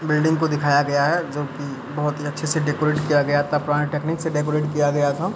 Building को दिखाया गया है जो की बहुत ही अच्छे से डेकोरेट किया गया था पुराने टेक्नीक से डेकोरेट किया गया था।